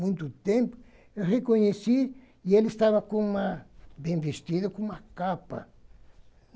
muito tempo, eu reconheci, e ele estava com uma, bem vestido, com uma capa.